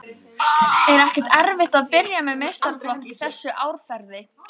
Er ekkert erfitt að byrja með meistaraflokk í þessu árferði?